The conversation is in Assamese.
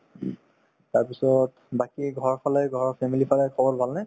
তাৰপিছত বাকি ঘৰৰফালে ঘৰৰ family ৰ ফালে খবৰ ভাল নে ?